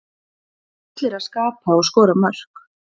Það þurfa allir að skapa og skora mörk.